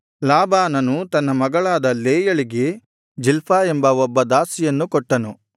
ಲಾಬಾನನು ತನ್ನ ಮಗಳಾದ ಲೇಯಳಿಗೆ ಜಿಲ್ಪಾ ಎಂಬ ಒಬ್ಬ ದಾಸಿಯನ್ನು ಕೊಟ್ಟನು